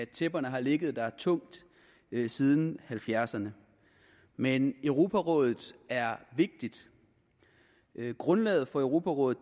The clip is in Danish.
tæpperne har ligget der tungt siden nitten halvfjerdserne men europarådet er vigtigt grundlaget for europarådet